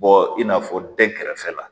Bɔ in n'a fɔ dɛn kɛrɛfɛla